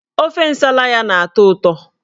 Ofe Nsala ya na-atọ ụtọ